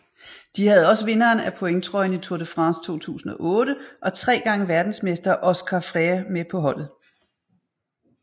De havde også vinderen af pointtrøjen i Tour de France 2008 og tre gange verdensmester Óscar Freire med på holdet